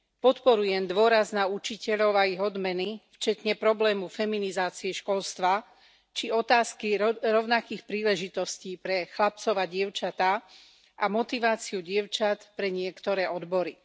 Podporujem dôraz na učiteľov a ich odmeny vrátane problému feminizácie školstva, či otázky rovnakých príležitostí pre chlapcov a dievčatá a motiváciu dievčat pre niektoré odbory.